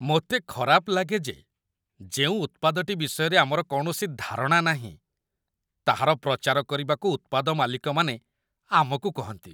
ମୋତେ ଖରାପ ଲାଗେ ଯେ ଯେଉଁ ଉତ୍ପାଦଟି ବିଷୟରେ ଆମର କୌଣସି ଧାରଣା ନାହିଁ, ତାହାର ପ୍ରଚାର କରିବାକୁ ଉତ୍ପାଦ ମାଲିକମାନେ ଆମକୁ କହନ୍ତି।